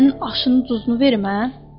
Bəlkə sənin aşının duzunu verim hə?